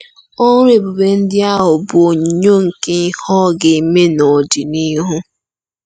Ọrụ ebube ndị ahụ bụ onyinyo nke ihe ọ ga-eme n’ọdịnihu.